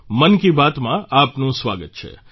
મન કી બાતમાં આપનું સ્વાગત છે